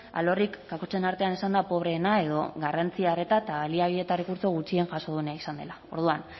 alorrik kakotxen artean esanda pobreena edo garrantzia arreta eta baliabide eta errekurtso gutxien jaso duena izan dela orduan